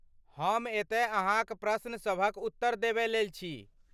हम एतय अहाँक प्रश्नसभक उत्तर देबयलेल छी।